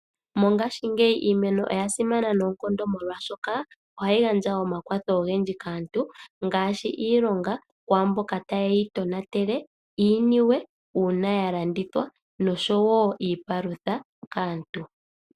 Mongaashi ngeyi iimeno oyasimana noonkondo molwaashoka oshoka oha yi gandja omakwatho ogendji kaantu gaashi iilonga kwaamboka ta ye yi tonatele, niiniwe ngele yalandithwa osho woo iipalutha kaantu.